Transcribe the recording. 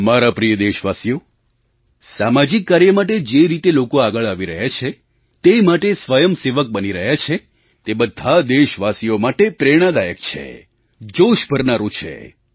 મારા પ્રિય દેશવાસીઓ સામાજિક કાર્ય માટે જે રીતે લોકો આગળ આવી રહ્યા છે તે માટે સ્વયંસેવક બની રહ્યા છે તે બધાં દેશવાસીઓ માટે પ્રેરણાદાયક છે જોશ ભરનારું છે